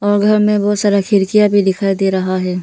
बगल में बहुत सारा खिड़कियाँ भी दिखाई दे रहा है।